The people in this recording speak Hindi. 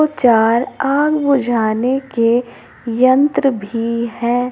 चार आग बुझाने के यंत्र भी है।